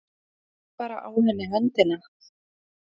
Sleikti bara á henni höndina.